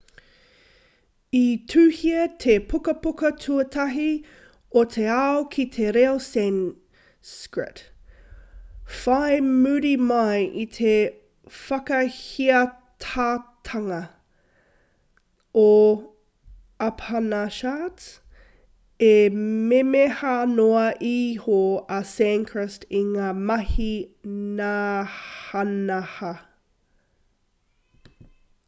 i tuhia te pukapuka tuatahi o te ao ki te reo sanskrit whai muri mai i te whakahiatotanga o upanishards e memeha noa iho a sanskrit i ngā mahi nahanaha